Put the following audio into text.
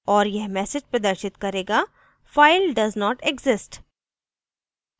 और यह message प्रदर्शित करेगा file does not exist